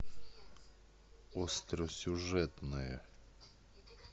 остросюжетное